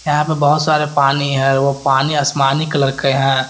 यहाँ पे बहुत सारे पानी है वो पानी आसमानी कलर के हैं।